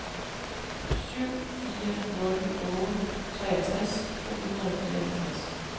syv fire nul otte treogtres to hundrede og fireoghalvtreds